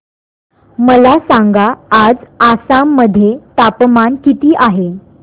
मला सांगा आज आसाम मध्ये तापमान किती आहे